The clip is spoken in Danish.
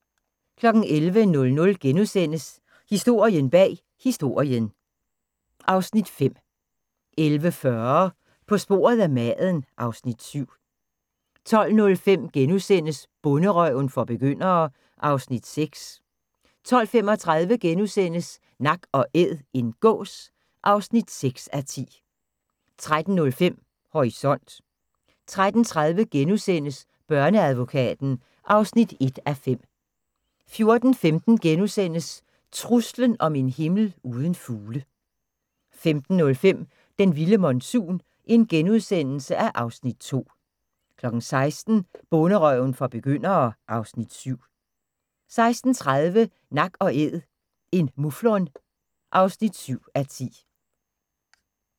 11:00: Historien bag Historien (Afs. 5)* 11:40: På sporet af maden (Afs. 7) 12:05: Bonderøven for begyndere (Afs. 6)* 12:35: Nak & æd - en gås (6:10)* 13:05: Horisont 13:30: Børneadvokaten (1:5)* 14:15: Truslen om en himmel uden fugle * 15:05: Den vilde monsun (Afs. 2)* 16:00: Bonderøven for begyndere (Afs. 7) 16:30: Nak & æd - en muflon (7:10)